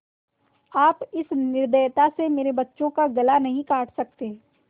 आप इस निर्दयता से मेरे बच्चों का गला नहीं काट सकते